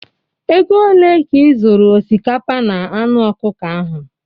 Ego ole ka ị zụrụ osikapa na anụ ọkụkọ ahụ?